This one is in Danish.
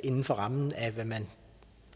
inden for rammen af hvad man